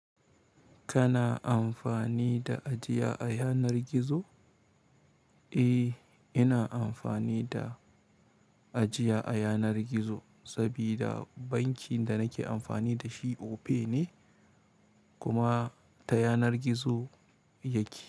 Kana amfani da ajiya a yanar gizo? Eh, ina amfani da ajiya a yanar gizo sabida bankin da nake amfani da shi Opay ne kuma ta yanar gizo yake.